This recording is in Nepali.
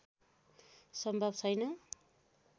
सम्भव छैन